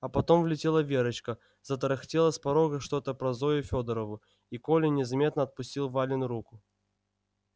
а потом влетела верочка затарахтела с порога что-то про зою фёдорову и коля незаметно отпустил валину руку